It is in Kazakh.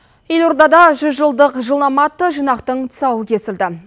елордада жүзжылдық жылнама атты жинақтың тұсауы кесілді